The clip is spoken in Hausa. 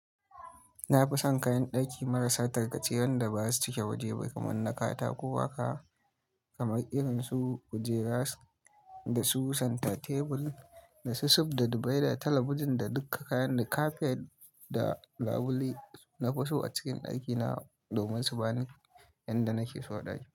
Na fi son kayan ɗaki marasa tarkace, wanda ba su cike waje ba, kamar na katako haka kamar irin su kujeras, da su center table da su sup da divider, talabijin da duka kayan da kafet da labule. Na fi so a cikin ɗakina domin su bani yanda nake so ɗaki.